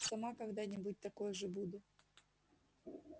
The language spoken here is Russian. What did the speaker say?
сама когда-нибудь такой же буду